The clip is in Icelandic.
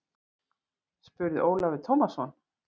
spurði Ólafur Tómasson.